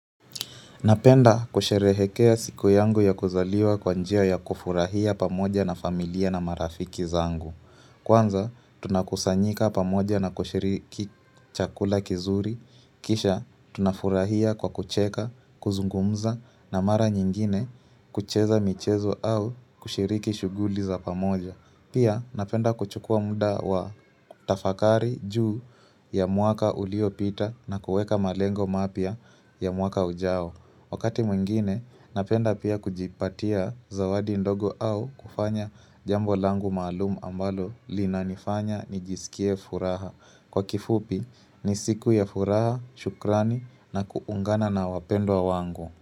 Napenda kusherehekea siku yangu ya kuzaliwa kwa njia ya kufurahia pamoja na familia na marafiki zangu. Kwanza tunakusanyika pamoja na kushiriki chakula kizuri, kisha tunafurahia kwa kucheka, kuzungumza na mara nyingine kucheza michezo au kushiriki shuguli za pamoja. Pia napenda kuchukua muda wa tafakari juu ya mwaka uliopita na kueka malengo mapia ya mwaka ujao. Wakati mwingine, napenda pia kujipatia zawadi ndogo au kufanya jambo langu malumu ambalo lina nifanya nijisikie furaha. Kwa kifupi, nisiku ya furaha, shukrani na kuungana na wapendo wa wangu.